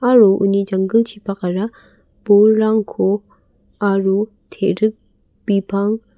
aro uni janggilchipakara bolrangko aro te·rik bipang --